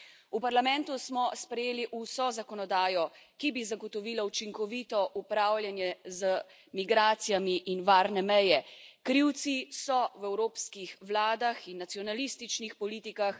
V Parlamentu smo sprejeli vso zakonodajo, ki bi zagotovila učinkovito upravljanje z migracijami in varne meje, krivci so v evropskih vladah in nacionalističnih politikah.